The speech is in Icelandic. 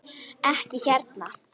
Ekki hérna!